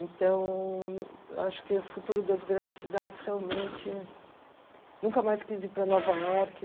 Então, acho que o futuro das grandes cidades realmente... Nunca mais quis ir para Nova York.